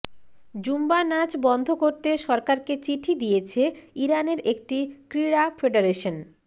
Zumba নাচ বন্ধ করতে সরকারকে চিঠি দিয়েছে ইরানের একটি ক্রীড়া ফেডারেশন